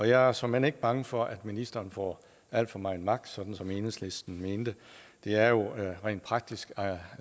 jeg er såmænd ikke bange for at ministeren får alt for meget magt sådan som enhedslisten mente det er jo rent praktisk